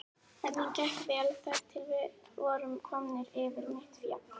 Ferðin gekk vel þar til við vorum komnir yfir mitt fjall.